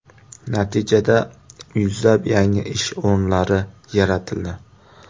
Natijada yuzlab yangi ish o‘rinlari yaratildi.